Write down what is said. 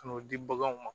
Ka n'o di baganw ma